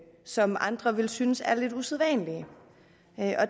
som andre vil synes er lidt usædvanlige